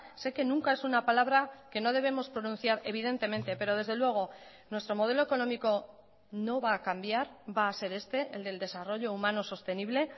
sé que nunca es una palabra que no debemos pronunciar evidentemente pero desde luego nuestro modelo económico no va a cambiar va a ser este el del desarrollo humano sostenible